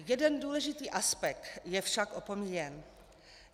Jeden důležitý aspekt je však opomíjen.